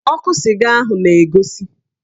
Ọkụ sịga ahụ na-egosi